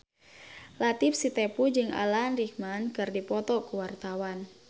Latief Sitepu jeung Alan Rickman keur dipoto ku wartawan